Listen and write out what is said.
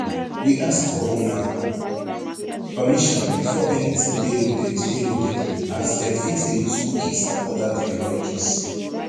we ask for una permission before anytin dey loaded dey loaded as dem fit dey use cookies and oda technologies